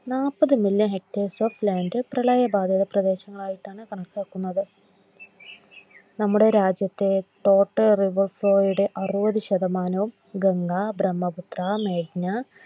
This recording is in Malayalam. Hectors of Land പ്രളയബാധിത പ്രദേശങ്ങളായിട്ടാണ് കണക്കാക്കപ്പെടുന്നത്. നമ്മുടെ രാജ്യത്തെ Toterivefo യുടെ അറുപതുശതമാനവും ഗംഗാ, ബ്രഹ്മപുത്ര, മേഘ്‌ന